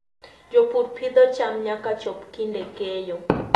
Jopur pidho cham nyaka chop kinde keyo.